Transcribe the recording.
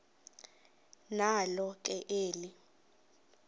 nalo ke eli